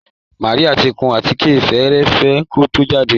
Màríà ti kun àtíkè fẹ́ẹ́rẹ́fẹ́ kó tó jáde